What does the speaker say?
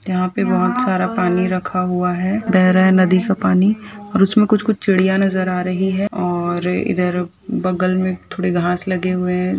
यहां पे बहुत सारा पानी रखा हुआ है बह रहा है नदी का पानी और उसमे कुछ कुछ चिड़िया नज़र आ रही है और इधर बगल में घास लगे हुए है।